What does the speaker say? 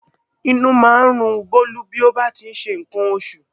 Inú máa ń run Bólú bí ó bá ti ń ṣe nǹkan oṣù